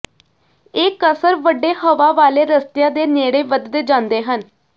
ਇਹ ਕਸਰ ਵੱਡੇ ਹਵਾ ਵਾਲੇ ਰਸਤਿਆਂ ਦੇ ਨੇੜੇ ਵਧਦੇ ਜਾਂਦੇ ਹਨ